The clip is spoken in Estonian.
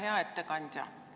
Hea ettekandja!